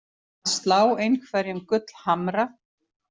Að slá einhverjum gullhamra